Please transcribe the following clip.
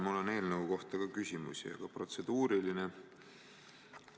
Mul on ka eelnõu kohta küsimusi, aga nüüd protseduuriline.